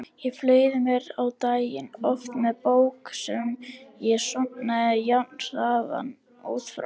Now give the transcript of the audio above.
Ég fleygði mér á daginn, oft með bók sem ég sofnaði jafnharðan út frá.